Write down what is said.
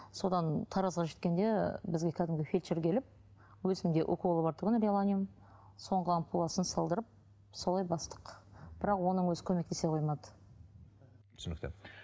содан таразға жеткенде бізге кәдімгі фельдшер келіп өзімде уколы бар тұғын реланиум соңғы ампуласын салдырып солай бастық бірақ оның өзі көмектесе қоймады түсінікті